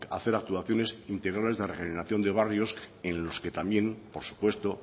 hacer actuaciones integrales de regeneración de barrios en los que también por supuesto